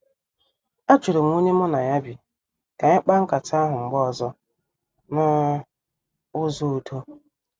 Ajurum onye mụ na ya bi ka anyị mkpa nkata ahụ mgbe ọzọ n' ụzọ udo.